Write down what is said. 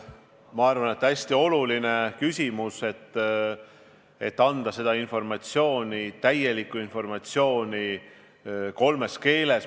Ma arvan, et see on hästi oluline küsimus – anda seda informatsiooni, täielikku informatsiooni kolmes keeles.